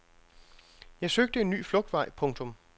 Jeg søgte en ny flugtvej. punktum